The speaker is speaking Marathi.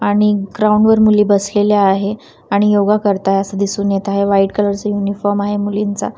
आणि ग्राउंड वर मुली बसलेल्या आहे आणि योगा करता आहे असं दिसून येत आहे व्हाईट कलर चा युनिफॉर्म आहे मुलींचा.